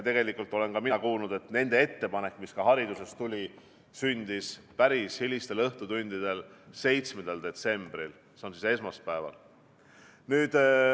Ma olen kuulnud, et nende ettepanek, mis ka hariduses tuli, sündis päris hilistel õhtutundidel esmaspäeval, 7. detsembril.